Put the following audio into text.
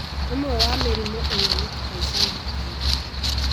ũmwe wa mĩrimũ ĩno nĩ kuhaica thakame